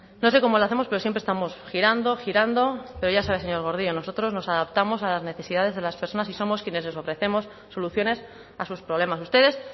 no sé cómo lo hacemos pero siempre estamos girando girando pero ya sabe señor gordillo nosotros nos adaptamos a las necesidades de las personas y somos quienes les ofrecemos soluciones a sus problemas ustedes